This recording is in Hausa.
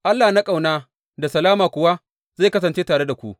Allah na ƙauna da salama kuwa zai kasance tare da ku.